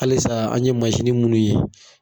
Halisa an ye munnu ye